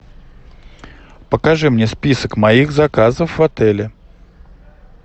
покажи мне список моих заказов в отеле